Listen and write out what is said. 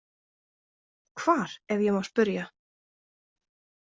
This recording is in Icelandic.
Hvar, ef ég má spyrja?